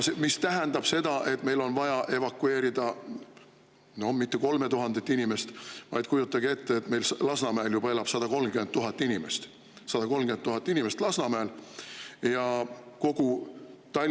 See tähendab seda, et meil ei ole vaja evakueerida mitte 3000 inimest, vaid kujutage ette, meil Lasnamäel elab juba 130 000 inimest – 130 000 inimest Lasnamäel!